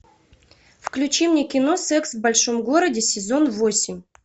включи мне кино секс в большом городе сезон восемь